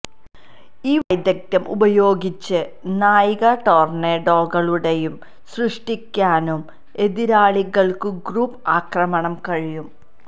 ഈ വൈദഗ്ധ്യം ഉപയോഗിച്ച് നായിക ടൊർണേഡോകളുടെയും സൃഷ്ടിക്കാനും എതിരാളികൾക്കു ഗ്രൂപ്പ് ആക്രമണം കഴിയും